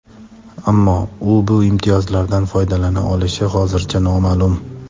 Ammo u bu imtiyozlardan foydalana olishi hozircha noma’lum.